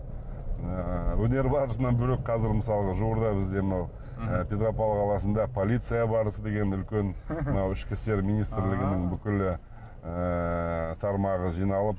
ыыы өнер барысынан бөлек қазір мысалы жуырда бізде мынау і петропавл қаласында полиция барысы деген үлкен мынау ішкі істер министрлігінің бүкілі ыыы тармағы жиналып